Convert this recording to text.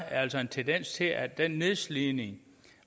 altså en tendens til at den nedslidning